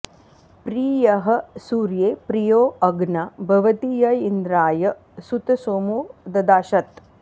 प्रि॒यः सूर्ये॑ प्रि॒यो अ॒ग्ना भ॑वाति॒ य इन्द्रा॑य सु॒तसो॑मो॒ ददा॑शत्